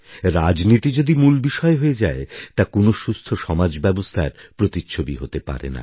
রাজনীতি যদি মূল বিষয় হয়ে যায় তা কোন সুস্থ সমাজব্যবস্থার প্রতিচ্ছবি হতে পারে না